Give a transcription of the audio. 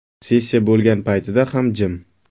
Sessiya bo‘lgan paytida ham jim.